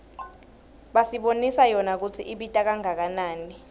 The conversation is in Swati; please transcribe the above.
basibonisa yona kutsi ibita kangakanani